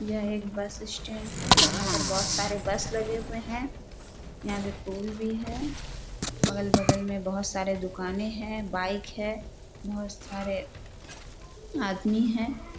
यह एक bus stand हैं यहाँ पे बहोत सारे बस लगे हुए हैं यहाँ पे पोल भी हैं अगल-बगल में बहोत सारे दुकानें हैं बाइक है बहोत सारे आदमी हैं।